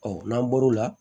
Ɔ n'an bɔr'o la